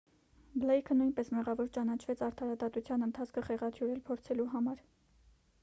բլեյքը նույնպես մեղավոր ճանաչվեց արդարադատության ընթացքը խեղաթյուրել փորձելու համար